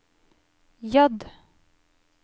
J